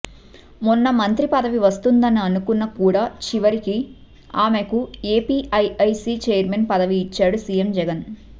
మొన్న మంత్రి పదవి వస్తుందని అనుకున్నా కూడా చివరికి ఆమెకు ఏపిఐఐసి ఛైర్మన్ పదవి ఇచ్చాడు సీఎం జగన్